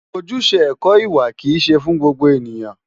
Ojúṣe ẹ̀kọ́ ìwà kìí ṣe fún gbogbo ènìyàn.